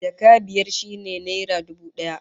Jaka biyar shine naira dubu daya